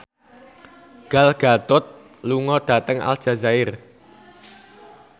Gal Gadot lunga dhateng Aljazair